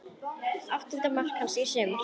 Áttunda mark hans í sumar.